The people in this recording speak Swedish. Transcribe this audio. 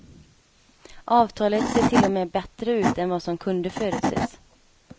Avtalet ser till och med bättre ut än vad som kunde förutses.